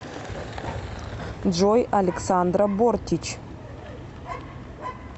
джой александра бортич